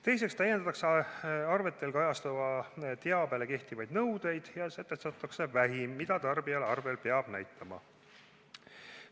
Teiseks täiendatakse arvetel kajastatavale teabele kehtivaid nõudeid ja sätestatakse vähim, mida tarbijale arvel peab näitama.